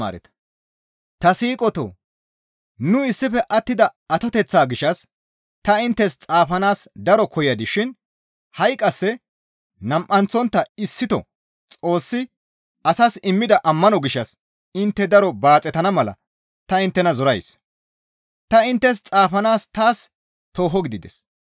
Ta siiqotoo! Nu issife attida atoteththaa gishshas ta inttes xaafanaas daro koyadisishin ha7i qasse nam7anththontta issito Xoossi asas immida ammano gishshas intte daro baaxetana mala ta inttena zorays. Ta inttes xaafanaas taas tooho gidides.